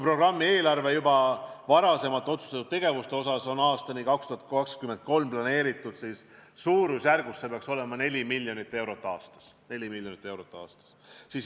Programmi juba varem otsustatud tegevuste eelarve on aastani 2023 planeeritud suurusjärgus – see peaks nii olema – 4 miljonit eurot aastas.